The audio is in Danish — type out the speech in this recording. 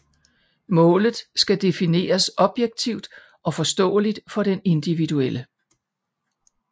Målet skal defineres objektivt og forståeligt for den individuelle